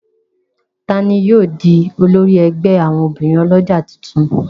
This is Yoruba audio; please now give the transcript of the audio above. Ta ní yóò dì olórí ègbé àwọn obìrin olójà títún?